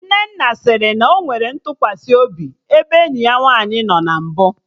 Nnenna sịrị na ọ nwere ntụkwasị obi ebe enyi ya nwaanyị nọ na mbụ